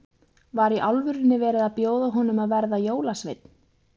Var í alvörunni verið að bjóða honum að verða jólasveinn?